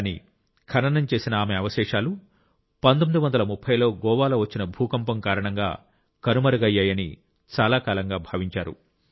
కానీ ఖననం చేసిన ఆమె అవశేషాలు 1930 లో గోవాలో వచ్చిన భూకంపం కారణంగా కనుమరుగయ్యాయని చాలా కాలంగా భావించారు